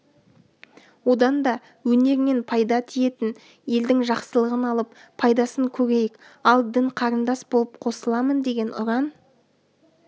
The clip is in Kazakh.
одан да өнерінен пайда тиетін елдің жақсылығын алып пайдасын көрейік ал дін-қарындас боп қосыламын деген ұран